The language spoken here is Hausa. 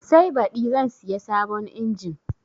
Sai baɗi zan siya sabon injin